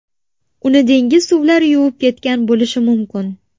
Uni dengiz suvlari yuvib ketgan bo‘lishi mumkin.